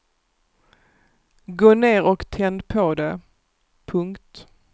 Gå ner och tänd på det. punkt